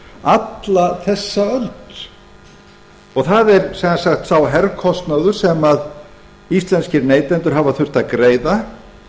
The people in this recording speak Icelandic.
alla þessa öld það er sem sagt sá herkostnaður sem íslenskir neytendur hafa þurft að greiða